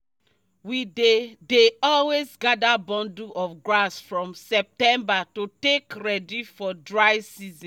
we dey dey always gather bundle of grass from september to take ready for dry season